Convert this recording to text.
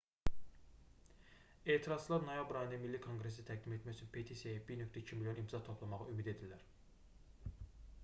etirazçılar noyabr ayında milli konqresə təqdim etmək üçün petisiyaya 1,2 milyon imza toplamağı ümid edirlər